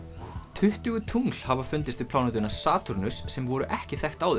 tuttugu tungl hafa fundist við plánetuna Satúrnus sem voru ekki þekkt áður